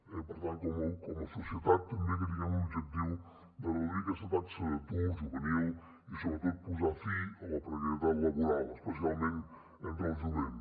i per tant com a societat també que tinguem l’objectiu de reduir aquesta taxa d’atur juvenil i sobretot de posar fi a la precarietat laboral especialment entre el jovent